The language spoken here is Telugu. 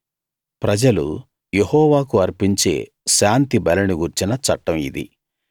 ప్రజలు యెహోవాకు అర్పించే శాంతి బలిని గూర్చిన చట్టం ఇది